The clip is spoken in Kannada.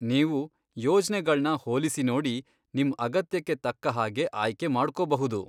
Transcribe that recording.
ನೀವು ಯೋಜ್ನೆಗಳ್ನ ಹೋಲಿಸಿ ನೋಡಿ, ನಿಮ್ ಅಗತ್ಯಕ್ಕೆ ತಕ್ಕ ಹಾಗೆ ಆಯ್ಕೆ ಮಾಡ್ಕೊಬಹುದು.